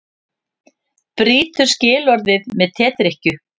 Brýtur skilorðið með tedrykkju